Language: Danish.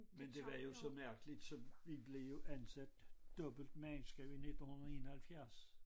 Men det var jo så mærkeligt som vi blev jo ansat dobbelt mandskab i 1971